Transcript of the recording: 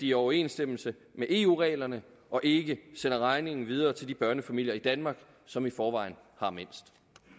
i overensstemmelse med eu reglerne og ikke sender regningen videre til de børnefamilier i danmark som i forvejen har mindst